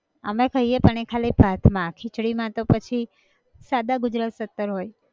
અમે ખઈએ પણ એ ખાલી ભાત માં, ખીચડી માં તો પછી, સાદા ગુજરાત સત્તર હોય